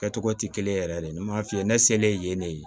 Kɛcogo tɛ kelen ye yɛrɛ de n b'a f'i ye ne selen yen ne ye